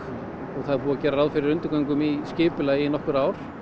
og það er búið að gera ráð fyrir undirgöngum í skipulagi í nokkur ár